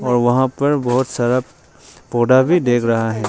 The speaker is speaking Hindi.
वहां पर बहुत सारा पौधा भी देख रहा है।